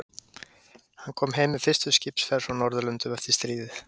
Hann kom heim með fyrstu skipsferð frá Norðurlöndum eftir stríðið.